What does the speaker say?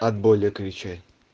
от боли кричать